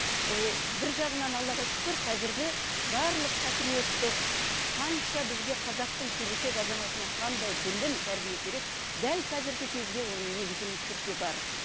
бір жағынан аллаға шүкір қазіргі барлық патриоттық қанша бізге қазақтың келешек азаматына қандай білім тәрбие керек дәл қазіргі кезде оның негізі мектепте бар